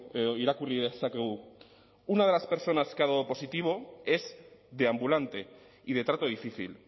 edo irakurri dezakegu una de las personas que ha dado positivo es deambulante y de trato difícil